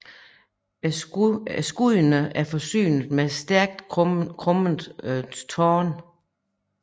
Skuddene er forsynet med stærkt krummede torne